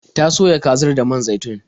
Ta soya kazar da man zaitun.